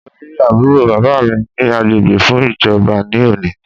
Màá lọ rí àbúrò bàbá mi ni agbègbè fún ìjọba ní òní